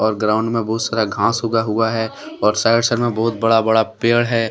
Ground में बहुत सारा घाँस उगा हुआ है और साइड साइड में बहुत बड़ा बड़ा पेड़ है।